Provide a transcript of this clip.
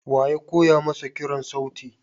Wa ya koya masa kiran sauti?